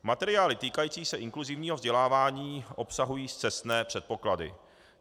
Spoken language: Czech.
Materiály týkající se inkluzivního vzdělávání obsahují scestné předpoklady.